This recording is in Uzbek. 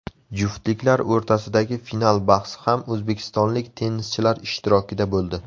Juftliklar o‘rtasidagi final bahsi ham o‘zbekistonlik tennischilar ishtirokida bo‘ldi.